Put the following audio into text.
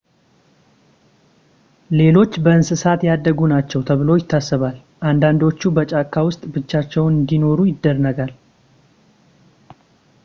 ሌሎች በእንስሳት ያደጉ ናቸው ተብሎ ይታሰባል አንዳንዶቹ በጫካ ውስጥ ብቻቸውን እንደኖሩ ይነገራል